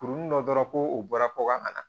Kurun dɔ dɔrɔn ko u bɔra ko ka na